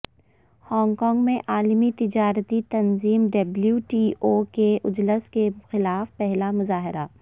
Hong Kong میں عالمی تجارتی تنظیم ڈبلیو ٹی او کے اجلاس کے خلاف پہلا مظاہرہ